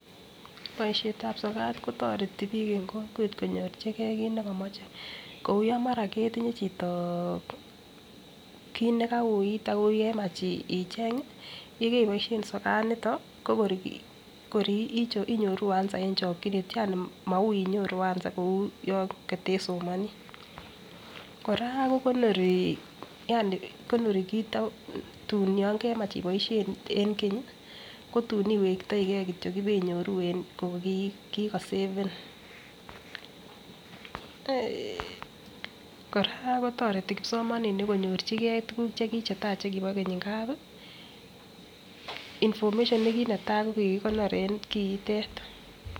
Boishetab sokat kotoreti bik en kokwet konyorchigee kit nekomoche kou yon mara ketinye chito kit nekauit okemach icheng yekeboishen sokat nito ko kor inyoru answer en chokinet yani maui inyoru answer kou yon kotesomoni. Koraa ko konori Yani konori kit ak tun yon okemach iboishen en Kenyi ko tun iwektoigee kityok ibenyoru en ko Koko seven. Koraa kotoreti kipsomaninik konyorchigee tukuk chetai chekibo Keny ngapi information nekinetai ko kikikonor en kiitet.